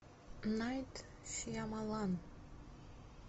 найт шьямалан